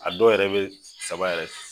A dɔw yɛrɛ bɛ saba yɛrɛ